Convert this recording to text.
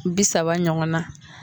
Bi saba ɲɔgɔn na.